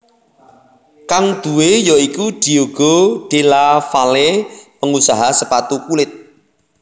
Kang duwé ya iku Diego Della Valle pengusaha sepatu kulit